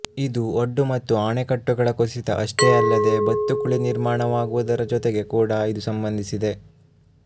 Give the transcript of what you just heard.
ಇದು ಒಡ್ಡು ಮತ್ತು ಆಣೆಕಟ್ಟುಗಳ ಕುಸಿತ ಅಷ್ಟೇ ಅಲ್ಲದೆ ಬತ್ತುಕುಳಿ ನಿರ್ಮಾಣವಾಗುವುದರ ಜೊತೆಗೆ ಕೂಡಾ ಇದು ಸಂಬಂಧಿಸಿದೆ